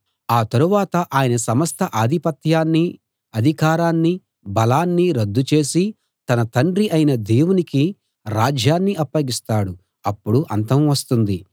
ఆ తరువాత ఆయన సమస్త ఆధిపత్యాన్నీ అధికారాన్నీ బలాన్నీ రద్దు చేసి తన తండ్రి అయిన దేవునికి రాజ్యాన్ని అప్పగిస్తాడు అప్పుడు అంతం వస్తుంది